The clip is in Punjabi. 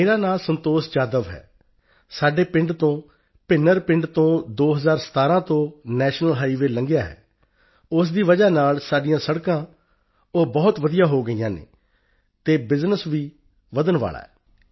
ਮੇਰਾ ਨਾਂ ਸੰਤੋਸ਼ ਜਾਧਵ ਹੈ ਸਾਡੇ ਪਿੰਡ ਤੋਂ ਭਿੰਨਰ ਪਿੰਡ ਤੋਂ 2017 ਤੋਂ ਨੈਸ਼ਨਲ ਹਾਈਵੇ ਗਿਆ ਹੈ ਇਸ ਦੀ ਵਜ੍ਹਾ ਨਾਲ ਸਾਡੀਆਂ ਸੜਕਾਂ ਬਹੁਤ ਵਧੀਆ ਹੋ ਗਈਆਂ ਹਨ ਅਤੇ ਬਿਜਨਸ ਵੀ ਵਧਣ ਵਾਲਾ ਹੈ